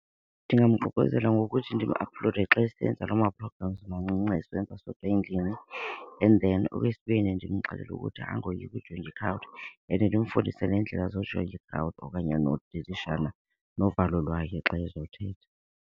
Ndingamququzela ngokuthi ndim-aplode xa esenza loo ma-programs mancinci esenza sodwa endlini. And then okwesibini ndimxelele ukuthi angoyiki and ndimfundise neendlela okanye nodilishana novalo lwakhe xa ezothetha.